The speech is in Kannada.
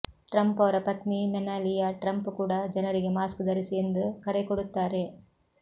ಟ್ರಂಪ್ ಅವರ ಪತ್ನಿ ಮೆನಾಲಿಯಾ ಟ್ರಂಪ್ ಕೂಡ ಜನರಿಗೆ ಮಾಸ್ಕ್ ಧರಿಸಿ ಎಂದು ಕರೆಕೊಡುತ್ತಾರೆ